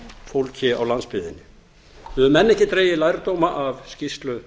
fólki á landsbyggðinni við höfum enn ekki dregið lærdóma af skýrslu